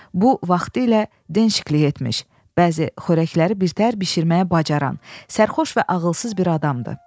Bu vaxtilə denşiklik etmiş, bəzi xörəkləri birtər bişirməyə bacaran, sərxoş və ağılsız bir adamdır.